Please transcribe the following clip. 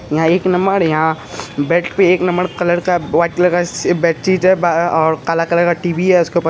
यहा एक नम्बर यहाँ बेत पैक नंवबर का बोत लग्से ची जब अ कलर कलर का टी.वि. है उसके ऊपर